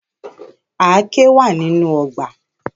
Àáké wa ninu ọgbà.